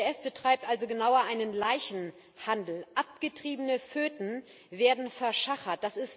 Die IPPF betreibt also genauer einen Leichenhandel. Abgetriebene Föten werden verschachert.